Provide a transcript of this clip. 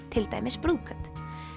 til dæmis brúðkaup